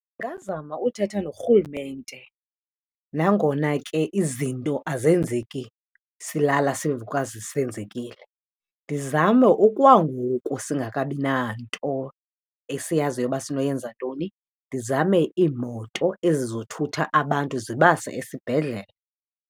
Ndingazama uthetha norhulumente nangona ke izinto azenzeki silala sivuka sezenzekile. Ndizame okwangoku singekabina nto esiyaziyo uba sini yenza ntoni, ndizame iimoto ezizothutha abantu zibase esibhedlele.